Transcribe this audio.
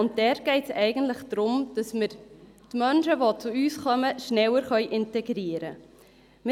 Dabei geht es eigentlich darum, dass wir die Menschen, die zu uns kommen, schneller integrieren können.